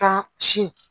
Ka sin